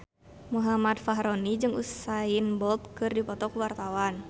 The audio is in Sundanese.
Muhammad Fachroni jeung Usain Bolt keur dipoto ku wartawan